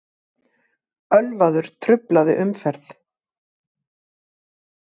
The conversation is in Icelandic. Ölvaður truflaði umferð